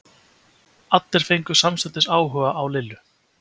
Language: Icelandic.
Allir fengu samstundis áhuga á Lillu.